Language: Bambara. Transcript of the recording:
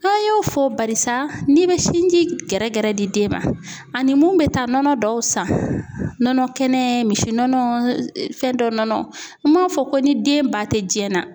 An y'o fɔ barisa n'i be sinji gɛrɛ gɛrɛ di den ma ani mun be taa nɔnɔ dɔw san nɔnɔ kɛnɛ misi nɔnɔ fɛn dɔ nɔnɔ n m'a fɔ ko ni den ba tɛ jiɲɛ na